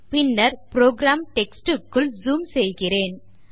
பின்னர் program text க்குள் zoom செய்கிறேன்